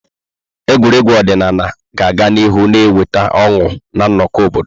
Egwuregwu ọdịnala ga-aga n'ihu na-eweta ọṅụ na nnọkọ obodo.